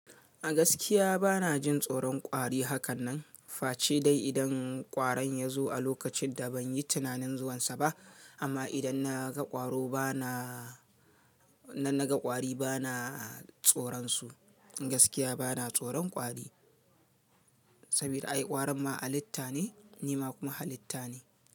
A gaskiya bana jin tsoron kwari hakan nan. Fa ce dai idan ƙwaron ya zo a lokacin da ban yi tunanin zuwansa ba. Amma idan na ga ƙwaro bana, na na ga ƙwari bana tsoron su. Gaskiya bana tsoron kwari saboda ai ƙwarin ma halitta ne, ni ma kuma halitta ne.